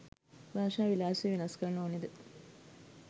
භාෂා විලාසය වෙනස් කරන්න ඕනද?